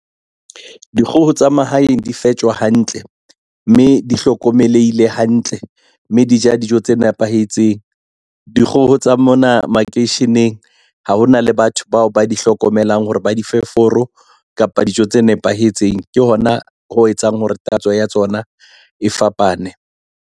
Dikgoho tsa mahaeng di fepjwa hantle, mme di hlokomelehile hantle, mme di ja dijo tse nepahetseng. Dikgoho tsa mona makeisheneng ha ona le batho bao ba di hlokomelang hore ba di fe foro kapa dijo tse nepahetseng. Ke hona ho etsang hore tatso ya tsona e fapane.